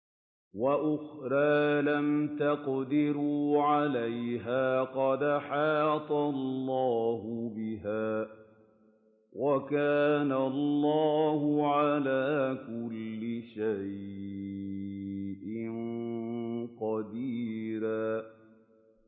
وَأُخْرَىٰ لَمْ تَقْدِرُوا عَلَيْهَا قَدْ أَحَاطَ اللَّهُ بِهَا ۚ وَكَانَ اللَّهُ عَلَىٰ كُلِّ شَيْءٍ قَدِيرًا